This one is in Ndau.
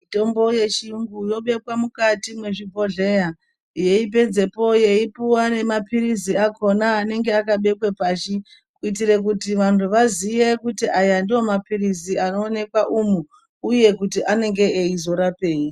Mitombo yechiyungu yobekwa mukati mezvibhodhlera yeipedzepo yeipuwa nemapilizi akona anenge akabekwe pashi kuitira kuti vantu vaziye kuti aya ndo mapilizi anowanikwa umu uye kuti anenge eyi zorapei.